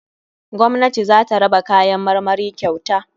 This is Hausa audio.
Gwamnati zata raba kayan marmari kyauta.